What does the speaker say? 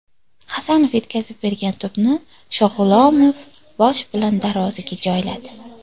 Hasanov yetkazib bergan to‘pni Shog‘ulomov bosh bilan darvozaga joyladi.